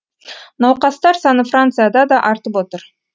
науқастар саны францияда да артып отыр